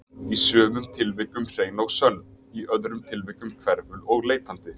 Í sumum tilvikum hrein og sönn, í öðrum tilvikum hverful og leitandi.